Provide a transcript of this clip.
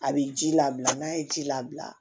A bɛ ji labila n'a ye ji labila